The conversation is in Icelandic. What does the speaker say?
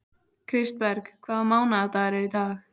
Kristberg, hvaða mánaðardagur er í dag?